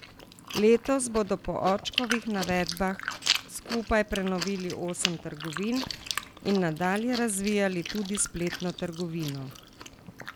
Letos bodo po Očkovih navedbah skupaj prenovili osem trgovin in nadalje razvijali tudi spletno trgovino.